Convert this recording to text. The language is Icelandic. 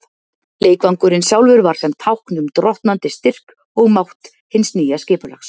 Leikvangurinn sjálfur var sem tákn um drottnandi styrk og mátt hins nýja skipulags.